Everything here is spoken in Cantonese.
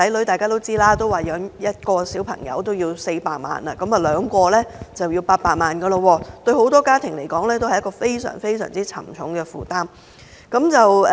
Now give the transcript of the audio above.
大家都知道，現時養育一名子女需要400萬元，兩名子女便要800萬元，對很多家庭來說，是一個非常沉重的負擔。